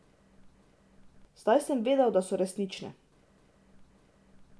Zdaj sem vedel, da so resnične.